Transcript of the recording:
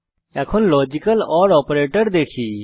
এখন লজিক্যাল ওর অপারেটরে আসি